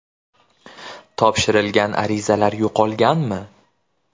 Topshirilgan arizalar yo‘qolganmi?